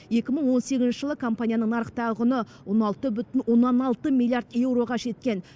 екі мың он сегізінші жылы компанияның нарықтағы құны он алты бүтін оннан алты миллиард еуроға жеткен